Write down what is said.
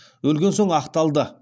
өлген соң ақталды